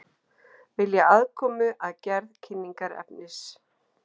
Vilja aðkomu að gerð kynningarefnis